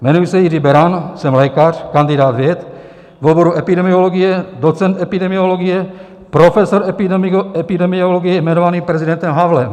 Jmenuji se Jiří Beran, jsem lékař, kandidát věd v oboru epidemiologie, docent epidemiologie, profesor epidemiologie jmenovaný prezidentem Havlem.